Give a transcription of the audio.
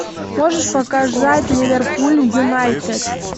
можешь показать ливерпуль юнайтед